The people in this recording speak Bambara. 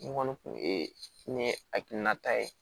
N kɔni kun ye ne hakilinata ye